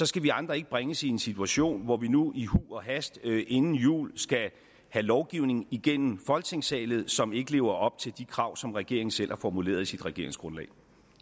skal vi andre ikke bringes i en situation hvor vi nu i huj og hast inden jul skal have lovgivning igennem folketingssalen som ikke lever op til de krav som regeringen selv har formuleret i sit regeringsgrundlag